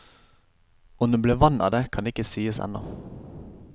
Om det ble vann av det, kan ikke sies ennå.